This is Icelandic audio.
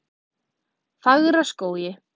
Fagraskógi